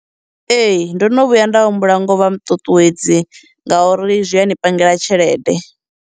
Ee, ndono vhuya nda humbula ngo vha muṱuṱuwedzi ngauri zwi a ni pangela tshelede.